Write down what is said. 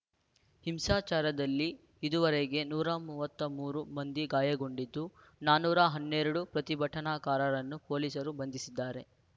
ಹಿಂಸಾಚಾರದಲ್ಲಿ ಇದುವರೆಗೆ ನೂರ ಮೂವತ್ತ್ ಮೂರು ಮಂದಿ ಗಾಯಗೊಂಡಿದ್ದು ನಾನೂರ ಹನ್ನೆರಡು ಪ್ರತಿಭಟನಾಕಾರರನ್ನು ಪೊಲೀಸರು ಬಂಧಿಸಿದ್ದಾರೆ